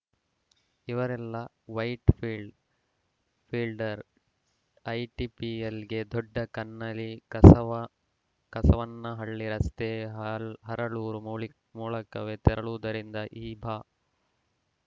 ಇವರೆಲ್ಲಾ ವೈಟ್‌ಫೀಲ್ಡ್‌ ಫಿಲ್ಡ್ರಾ ಐಟಿಪಿಎಲ್‌ಗೆ ದೊಡ್ಡ ಕನ್ನಳ್ಳಿ ಕಸವ ಕಸವ ನಹಳ್ಳಿ ರಸ್ತೆ ಹಲ್ ಹರಳೂರು ಮೊಲ್ ಮೂಲಕವೇ ತೆರಳುವು ದರಿಂದ ಈ ಭಾ